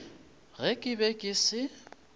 ge ke be ke se